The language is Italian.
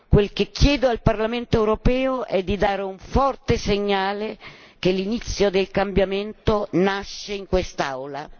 Quel che chiedo al Parlamento europeo è di dare un forte segnale che l'inizio del cambiamento nasce in quest'Aula.